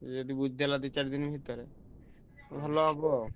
ସେ ଯଦି ବୁଝି ଦେଲା ଦି ଚାର ଦିନ ଭିତରେ ଭଲ ହବ।